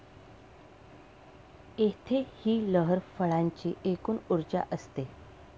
येथे ही लहर फळाची एकूण ऊर्जा असते.